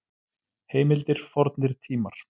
Heimildir Fornir tímar.